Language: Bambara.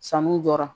Sanu jɔra